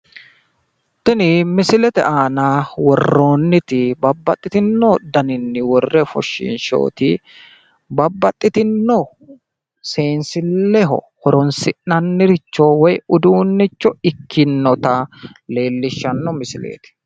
Tini misilete aana worroonniti babbaxitino daninni worre ofoshiinshoyiiti babbaxitino seenssilleho horonsi'naniricho woyi uduunnicho ikkinnota leellishshanno misileeti